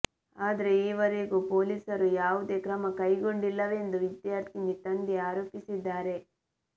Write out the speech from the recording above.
ಆದ್ರೆ ಈವರೆಗೂ ಪೊಲೀಸರು ಯಾವುದೇ ಕ್ರಮ ಕೈಗೊಂಡಿಲ್ಲವೆಂದು ವಿದ್ಯಾರ್ಥಿನಿ ತಂದೆ ಆರೋಪಿಸಿದ್ದಾರೆ